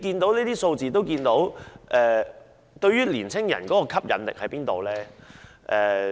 從這些數字可見，中國大陸對於年輕人的吸引力何在呢？